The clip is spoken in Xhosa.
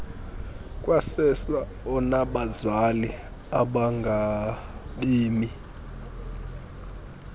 kwasersa onabazali abangabemi